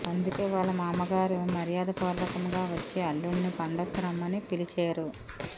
అందుకే వాళ్ళ మామగారు మర్యాదపూర్వకంగా వఛ్చి అల్లుడిని పండుగకు రమ్మని పిలిచేరు